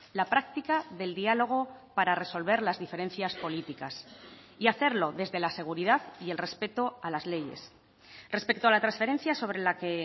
la práctica del diálogo para resolver las diferencias políticas y hacerlo desde la seguridad y el respeto a las leyes respecto a la transferencia sobre la que